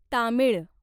Tamil